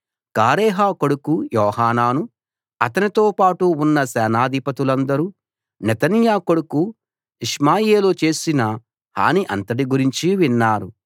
కారేహ కొడుకు యోహానాను అతనితోపాటు ఉన్న సేనాధిపతులందరూ నెతన్యా కొడుకు ఇష్మాయేలు చేసిన హాని అంతటి గురించి విన్నారు